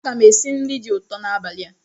Aga m esi nri dị ụtọ n'abalị a.